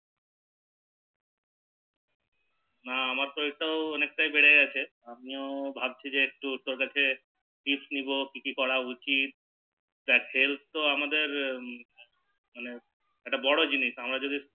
হাঁ আমার শরীর টাও অনেকটা বেড়ে গেছে তো ভাবছি যে একটু তোর কাছে tips নেবো কি কি করা উচিত তা Help কর আমাদের এটা বড় জিনিস